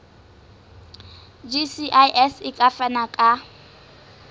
gcis e ka fana ka